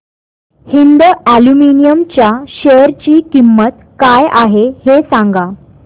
Hind aluminium च्या share ची किंमत काय आहे हे सांगा